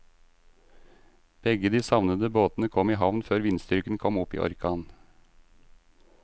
Begge de savnede båtene kom i havn før vindstyrken kom opp i orkan.